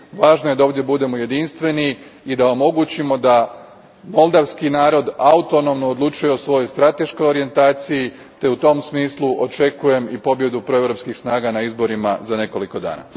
Važno je da ovdje budemo jedinstveni i da omogućimo da moldavski narod autonomno odlučuje o svojoj strateškoj orijentacije te u tom smislu očekujem i pobjedu proeuropskih snaga na izborima za nekoliko dana.